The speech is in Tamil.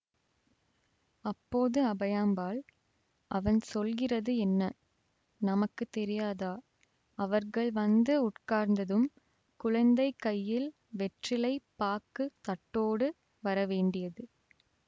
அப்போது அபயாம்பாள் அவன் சொல்கிறது என்ன நமக்கு தெரியாதா அவர்கள் வந்து உட்கார்ந்ததும் குழந்தை கையில் வெற்றிலை பாக்குத் தட்டோடு வரவேண்டியது